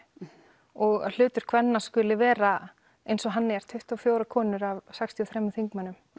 og að hlutur kvenna skuli vera eins og hann er tuttugu og fjórar konur af sextíu og þremur þingmönnum